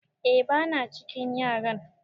eh bana cikin yaran